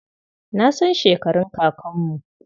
Na san shekarun kakanmu.